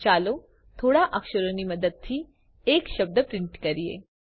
ચાલો થોડા અક્ષરોની મદદથી એક શબ્દ પ્રિન્ટ કરીએ